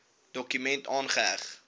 dokument aangeheg